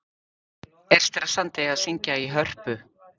Er stressandi að syngja í Hörpu?